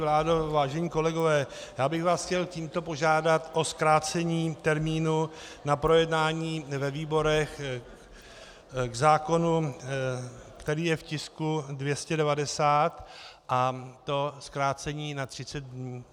Vládo, vážení kolegové, já bych vás chtěl tímto požádat o zkrácení termínu na projednání ve výborech k zákonu, který je v tisku 290, a to zkrácení na 30 dnů.